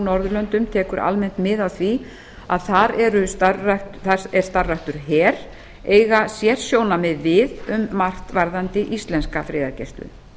norðurlöndum tekur almennt mið af því að þar er starfræktur her eiga sérsjónarmið við um margt varðandi íslenska friðargæslu